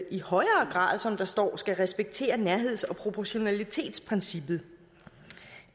i højere grad som der står skal respektere nærheds og proportionalitetsprincippet